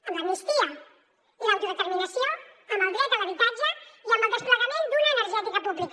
amb l’amnistia i l’autodeterminació amb el dret a l’habitatge i amb el desplegament d’una energètica pública